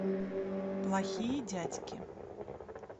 плохие дядьки